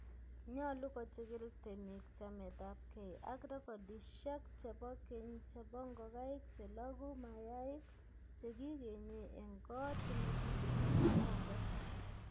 Nyolu kochigil temik chametapkei ak rekordishiek chebo keny chebo ngokaik chelogu mayaik chekigenye en koot nekigenyen arek